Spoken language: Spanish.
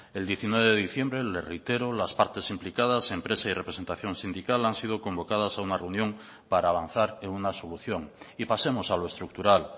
el diecinueve de diciembre le reitero las partes implicadas empresa y representación sindical han sido convocadas a una reunión para avanzar en una solución y pasemos a lo estructural